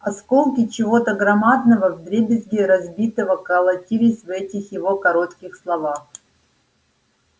осколки чего-то громадного вдребезги разбитого колотились в этих его коротких словах